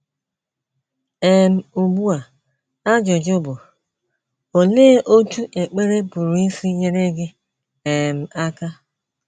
* um Ugbu a ajụjụ bụ, Olee otú ekpere pụrụ isi nyere gị um aka?